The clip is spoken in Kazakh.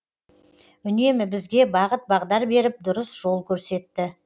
үнемі бізге бағыт бағдар беріп дұрыс жол көрсетті